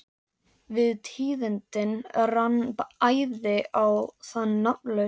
Við tíðindin rann æði á þann nafnlausa.